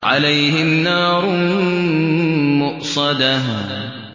عَلَيْهِمْ نَارٌ مُّؤْصَدَةٌ